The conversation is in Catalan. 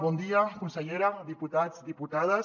bon dia consellera diputats diputades